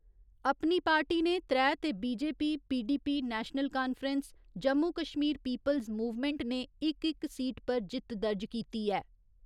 अपनी पार्टी ने त्रै ते BJP, PDP, National Conference, Jammu Kashmir people's movement ने इक इक सीट पर जित्त दर्ज कीती ऐ।